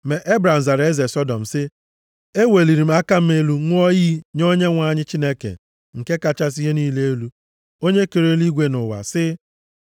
Ma Ebram zara eze Sọdọm sị, “Eweliri m aka m elu ṅụọ iyi nye Onyenwe anyị Chineke nke kachasị ihe niile elu, Onye kere eluigwe na ụwa, sị